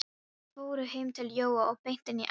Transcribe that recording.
Þeir fóru heim til Jóa og beint inn í eldhús.